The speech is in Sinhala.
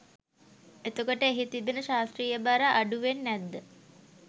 එතකොට එහි තිබෙන ශාස්ත්‍රීය බර අඩුවෙන් නැද්ද?